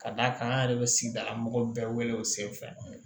Ka d'a kan an yɛrɛ bɛ sigidala mɔgɔ bɛɛ wele o sen fɛ